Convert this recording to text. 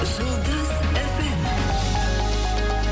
жұлдыз эф эм